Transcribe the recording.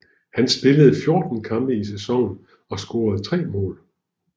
Han spillede 14 kampe i sæsonen og scorede tre mål